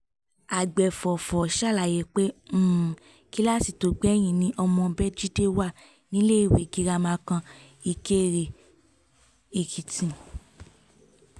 àgbẹ̀fọ́fà ṣàlàyé pé um kíláàsì tó gbẹ̀yìn ni ọmọ béjídé wà níléèwé girama kan um ìkéré-èkìtì